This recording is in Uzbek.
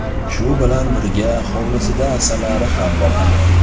Shu bilan birga hovlisida asalari ham boqadi.